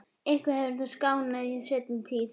Eitthvað hefur þetta skánað í seinni tíð.